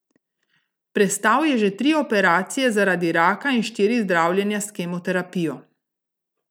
Prestal je že tri operacije zaradi raka in štiri zdravljenja s kemoterapijo.